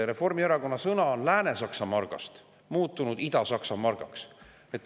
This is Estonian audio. Reformierakonna sõna on Lääne-Saksa margast muutunud Ida-Saksa margaks.